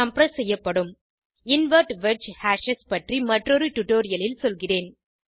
compress செய்யப்படும் invert wedge hashes பற்றி மற்றொரு டுடோரியலில் சொல்கிறேன்